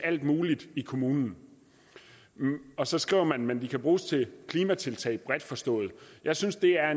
alt muligt i kommunen og så skriver man men de kan bruges til klimatiltag bredt forstået jeg synes det er